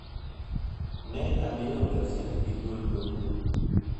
Ne amiyo gaset gi dwol maduong'